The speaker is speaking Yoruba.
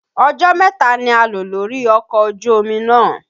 Ọjọ́ mẹ́ta ni a lò lórí ọkọ̀ ojú omi náà.